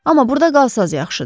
Amma burada qalsanız yaxşıdır.